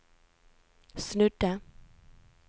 snudde